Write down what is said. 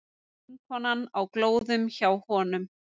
Vinkonan á glóðum hjá honum.